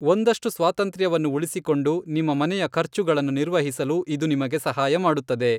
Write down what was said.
ಒಂದಷ್ಟು ಸ್ವಾತಂತ್ರ್ಯವನ್ನು ಉಳಿಸಿಕೊಂಡು, ನಿಮ್ಮ ಮನೆಯ ಖರ್ಚುಗಳನ್ನು ನಿರ್ವಹಿಸಲು ಇದು ನಿಮಗೆ ಸಹಾಯ ಮಾಡುತ್ತದೆ.